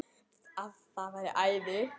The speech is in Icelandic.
Það væri æði